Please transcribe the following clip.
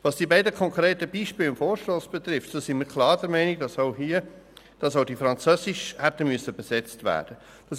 Was die beiden konkreten Beispiele im Vorstoss betrifft, sind wir klar der Meinung, dass auch diese ins Französische hätten übersetzt werden müssen.